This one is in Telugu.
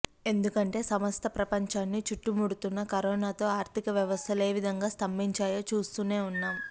ఎందుకంటే సమస్త ప్రపంచాన్ని చుట్టుముడుతున్న కరోనాతో ఆర్థిక వ్యవస్థలు ఏ విధంగా స్తంభించాయో చూస్తూనే ఉన్నాం